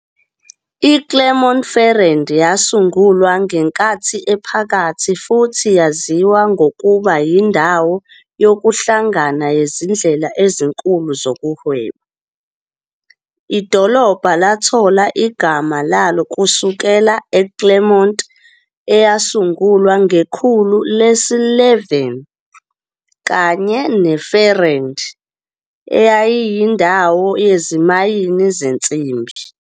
IClermont-Ferrand yasungulwa ngeNkathi Ephakathi futhi yaziwa ngokuba yindawo yokuhlangana yezindlela ezinkulu zokuhweba. Idolobha lathola igama laso kusukela eClermont, eyasungulwa ngekhulu lesi-11, kanye neFerrand, eyayiyindawo yezimayini yensimbi.